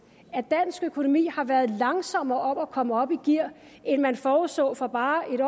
at dansk økonomi har været langsommere om at komme op i gear end man forudså for bare en